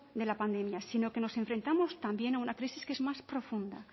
de la pandemia sino que nos enfrentamos también a una crisis más profunda